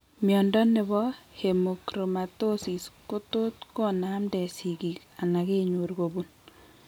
Mnyondo nebo Hemochromatosis kotot ko namnden sigiik anan kenyor kobun